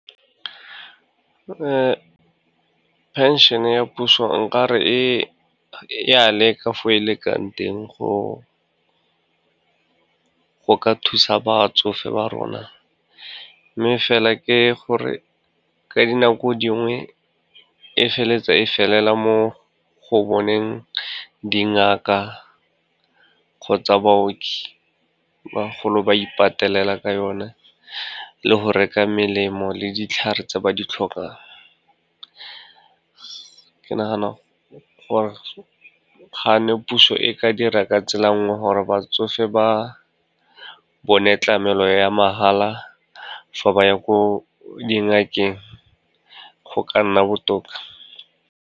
Phenšene ya puso, nkare e ya leka fo e lekang teng, go ka thusa batsofe ba rona, mme fela ke gore ka dinako dingwe e feleletsa e felela mo go boneng dingaka kgotsa baoki, bagolo ba ipatelela ka yone le go reka melemo le ditlhare tse ba di tlhokang. Ke nagana gore ga ne puso e ka dira ka tsela nngwe gore batsofe ba bone tlamelo ya mahala fa ba ya ko dingakeng, go ka nna botoka.